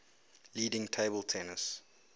leading table tennis